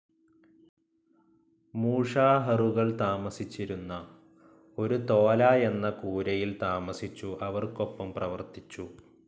മൂഷാഹറുകൾ താമസിച്ചിരുന്ന ഒരു തോല എന്ന കൂരയിൽ താമസിച്ചു അവർക്കൊപ്പം പ്രവർത്തിച്ചു.